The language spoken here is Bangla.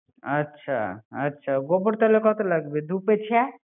আচ্ছা, আচ্ছা গোবর তাহলে কত লাগবে দু কেছে